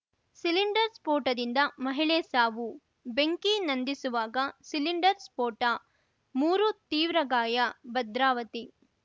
cylinder ಸ್ಫೋಟದಿಂದ ಮಹಿಳೆ ಸಾವು ಬೆಂಕಿ ನಂದಿಸುವಾಗ ಸಿಲಿಂಡರ್‌ ಸ್ಫೋಟ ಮೂರು ತೀವ್ರ ಗಾಯ ಭದ್ರಾವತಿ